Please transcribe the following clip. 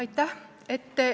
Aitäh!